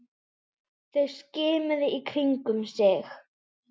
Þeir skimuðu í kringum sig.